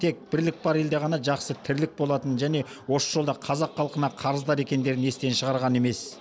тек бірлік бар елде ғана жақсы тірлік болатынын және осы жолда қазақ халқына қарыздар екендерін естен шығарған емес